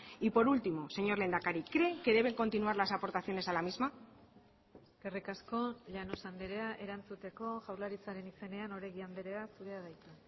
y por último señor lehendakari cree que deben continuar las aportaciones a la misma eskerrik asko llanos andrea erantzuteko jaurlaritzaren izenean oregi andrea zurea da hitza